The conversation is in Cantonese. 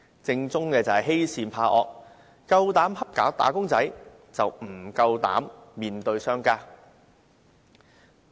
政府欺善怕惡，只欺負"打工仔"，不敢面對商家。